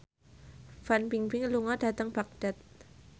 Fan Bingbing lunga dhateng Baghdad